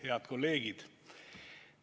Head kolleegid!